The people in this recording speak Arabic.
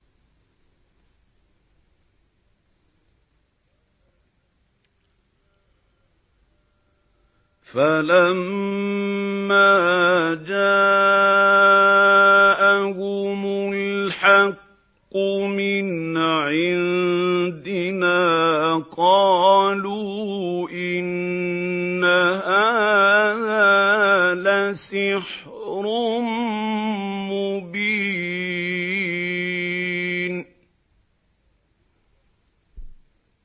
فَلَمَّا جَاءَهُمُ الْحَقُّ مِنْ عِندِنَا قَالُوا إِنَّ هَٰذَا لَسِحْرٌ مُّبِينٌ